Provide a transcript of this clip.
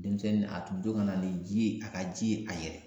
Denmisɛnnin a tun bɛ to ka na ni ji ye a ka ji ye a yɛrɛ ye